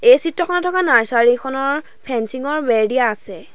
এই চিত্ৰখনত থকা নাৰ্চাৰী খনৰ ফেঞ্চিং ৰ বেৰ দিয়া আছে।